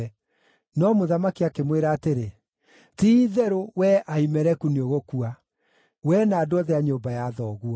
No mũthamaki akĩmwĩra atĩrĩ, “Ti-itherũ, wee Ahimeleku nĩũgũkua, wee na andũ othe a nyũmba ya thoguo.”